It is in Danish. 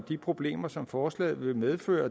de problemer som forslaget vil medføre